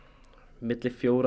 milli fjögurra